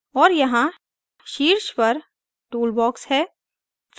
और यहाँ शीर्ष पर toolbox है